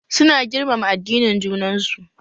Su na girmama addinin junan su